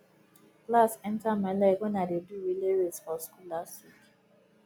glass enter my leg wen i dey do relay race for school last week